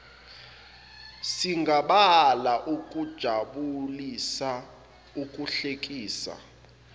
singabala ukujabulisa ukuhlekisa